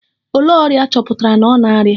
Olee ọrịa a chọpụtara na ọ na -arịa?